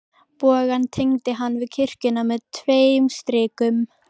Bogann tengdi hann við kirkjuna með tveim strikum.